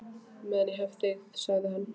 Meðan ég hef þig sagði hann þá.